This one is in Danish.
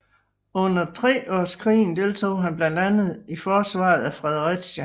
Under Treårskrigen deltog han blandt andet i forsvaret af Fredericia